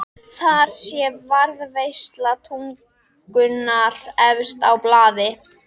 Þar sé varðveisla tungunnar efst á blaði.